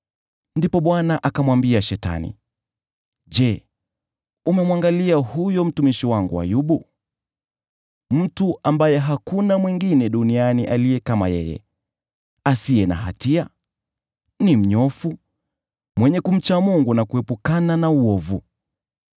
Ndipo Bwana akamwambia Shetani, “Je, umemwangalia huyo mtumishi wangu Ayubu? Hakuna mtu mwingine duniani aliye kama yeye, asiye na hatia, ni mnyofu, mwenye kumcha Mungu, na kuepukana na uovu.”